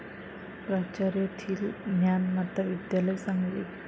प्राचार्य थील, ज्ञानमाता विद्यालय, सांगली